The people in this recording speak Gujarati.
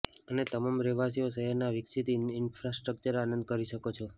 અને તમામ રહેવાસીઓ શહેરના વિકસિત ઇન્ફ્રાસ્ટ્રક્ચર આનંદ કરી શકો છો